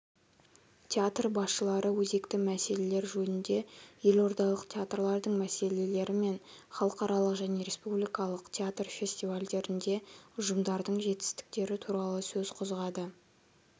театр басшылары өзекті мәселелер жөнінде елордалық театрлардың мәселелері мен халықаралық және республикалық театр фестивальдерінде ұжымдардың жетістіктері туралы сөз қозғады